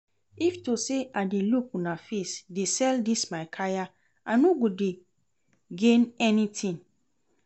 If to say I dey look una face dey sell dis my kaya I no go dey gain anything